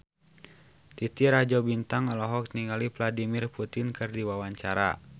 Titi Rajo Bintang olohok ningali Vladimir Putin keur diwawancara